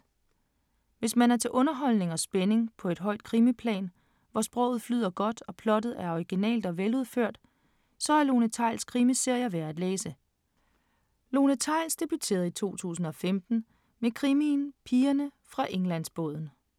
Hvis man er til underholdning og spænding på et højt krimiplan, hvor sproget flyder godt, og plottet er originalt og veludført, så er Lone Theils krimiserier værd at læse. Lone Theils debuterede i 2015 med krimien Pigerne fra Englandsbåden.